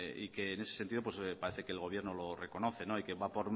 y que en ese sentido parece que el gobierno lo reconoce y que va a